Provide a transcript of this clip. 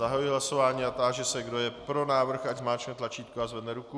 Zahajuji hlasování a táži se, kdo je pro návrh, ať zmáčkne tlačítko a zvedne ruku.